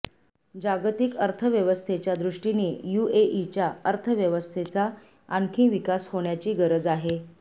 जागतिक अर्थव्यवस्थेच्यादृष्टीने युएईच्या अर्थव्यवस्थेचा आणखी विकास होण्याची गरज आहे